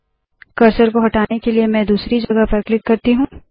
cursor को हटाने के लिए मैं दूसरी जगह पर क्लिक करती हूँ